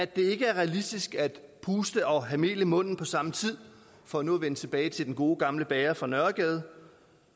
det ikke er realistisk at puste og have mel i munden på samme tid for nu at vende tilbage til den gode gamle bager fra nørregade